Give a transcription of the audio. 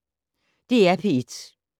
DR P1